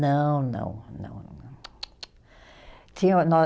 Não, não, não, não. Tsc tsc tsc (som de negação/reprovação).